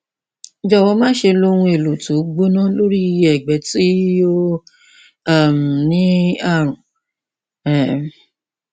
jọwọ máṣe lo ohun èlò tí ó gbóná lórí ẹgbẹ tí ó um ní ààrùn um